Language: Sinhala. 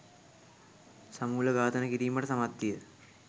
සමූලඝාතනය කිරීමට සමත්විය